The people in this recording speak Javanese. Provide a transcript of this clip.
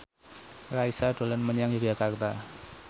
Raisa dolan menyang Yogyakarta